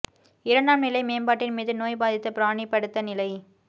இரண்டாம் நிலை மேம்பாட்டின் மீது நோய் பாதித்த பிராணி படுத்த நிலை